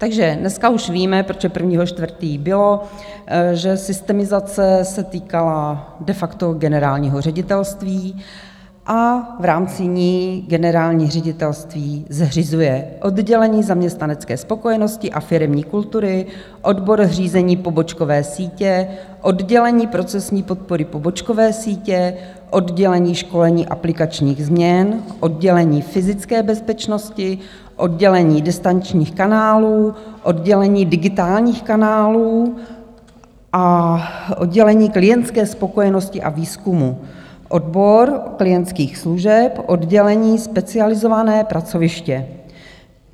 Takže dneska už víme, protože 1. 4. bylo, že systemizace se týkala de facto generálního ředitelství a v rámci ní generální ředitelství zřizuje oddělení zaměstnanecké spokojenosti a firemní kultury, odbor zřízení pobočkové sítě, oddělení procesní podpory pobočkové sítě, oddělení školení aplikačních změn, oddělení fyzické bezpečnosti, oddělení distančních kanálů, oddělení digitálních kanálů a oddělení klientské spokojenosti a výzkumu, odbor klientských služeb, oddělení specializované pracoviště.